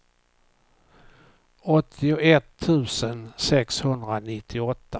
åttioett tusen sexhundranittioåtta